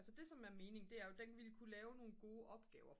så det som er mening det er den ville kunne lave nogle gode opgaver for